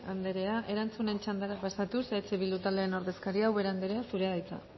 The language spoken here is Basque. anderea erantzunen txandara pasatuz eh bildu taldeen ordezkaria ubera anderea zurea da hitza